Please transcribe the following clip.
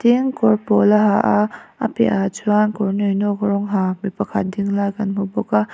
eng kawr pawl a ha a a piah ah chuan kawr nawinawk rawng ha mi pakhat ding lai kan hmu bawk a.